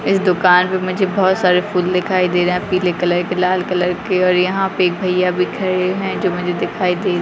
इस दुकान पर मुझे बहुत सारे फूल दिखाई दे रहे हैं पीले कलर के लाल कलर के और यहाँ पर एक भैया भी खड़े हैं जो मुझें दिखाई दे रहे हैं।